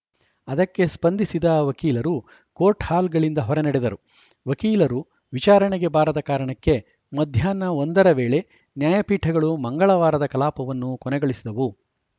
ಅದಕ್ಕೆ ಸ್ಪಂಧಿಸಿದ ವಕೀಲರು ಕೋರ್ಟ್‌ಹಾಲ್‌ಗಳಿಂದ ಹೊರ ನಡೆದರು ವಕೀಲರು ವಿಚಾರಣೆಗೆ ಬಾರದ ಕಾರಣಕ್ಕೆ ಮಧ್ಯಾಹ್ನ ಒಂದ ರ ವೇಳೆ ನ್ಯಾಯಪೀಠಗಳು ಮಂಗಳವಾರದ ಕಲಾಪವನ್ನು ಕೊನೆಗೊಳಿಸಿದವು